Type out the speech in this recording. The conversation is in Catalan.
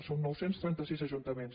són nou cents i trenta sis ajuntaments